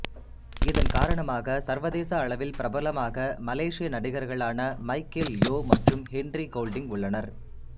இதன் காரணமாக சர்வதேச அளவில் பிரபலமாக மலேசிய நடிகர்களான மைக்கேல் யோ மற்றும் ஹென்றி கோல்டிங் உள்ளனர்